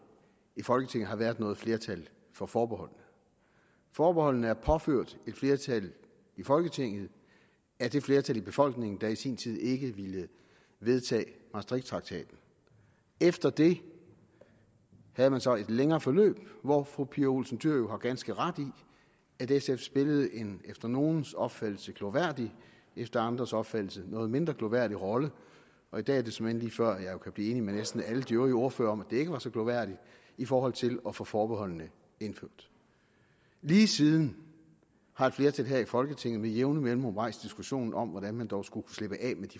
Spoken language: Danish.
i folketinget har været noget flertal for forbeholdene forbeholdene er påført et flertal i folketinget af det flertal i befolkningen der i sin tid ikke ville vedtage maastrichttraktaten efter det havde man så et længere forløb hvor fru pia olsen dyhr jo har ganske ret i at sf spillede en efter nogles opfattelse glorværdig efter andres opfattelse noget mindre glorværdig rolle og i dag er det såmænd lige før jeg kan blive enig med næsten alle de øvrige ordførere i at det ikke var så glorværdigt i forhold til at få forbeholdene indført lige siden har et flertal her i folketinget med jævne mellemrum rejst diskussionen om hvordan man dog skulle slippe af